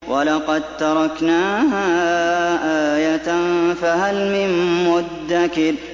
وَلَقَد تَّرَكْنَاهَا آيَةً فَهَلْ مِن مُّدَّكِرٍ